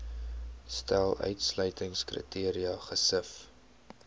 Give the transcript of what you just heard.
stel uitsluitingskriteria gesif